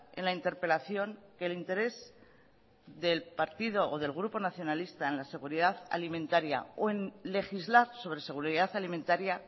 en la interpelación que el interés del partido o del grupo nacionalista en la seguridad alimentaria o en legislar sobre seguridad alimentaria